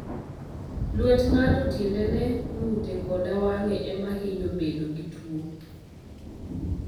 Lwet ng'ato, tiendene, ng'ute, koda wang'e ema hinyo bedo gi tuwo.